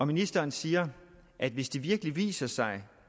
ministeren siger at hvis det virkelig viser sig